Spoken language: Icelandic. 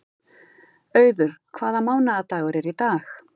Auður, hvaða mánaðardagur er í dag?